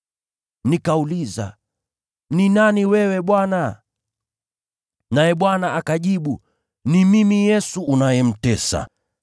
“Nikauliza, ‘Ni nani wewe, Bwana?’ “Naye Bwana akajibu, ‘Ni Mimi Yesu unayemtesa.